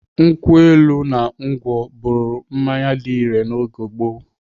Nkwụ elu na ngwọ bụrụ mmanya dị irè na oge gboo.